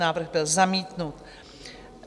Návrh byl zamítnut.